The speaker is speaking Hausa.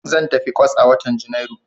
Zan tafi kwas a watan Janairu.